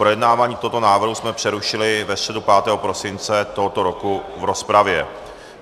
Projednávání tohoto návrhu jsme přerušili ve středu 5. prosince tohoto roku v rozpravě.